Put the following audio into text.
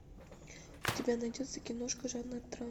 у тебя найдется киношка жанра драма